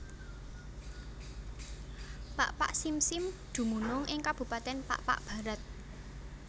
Pakpak Simsim dumunung ing kabupatèn Pakpak Bharat